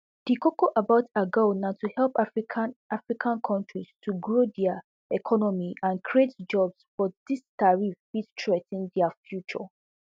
di koko about agoa na to help african african kontris to grow dia economies and create jobs but dis tariffs fit threa ten dia future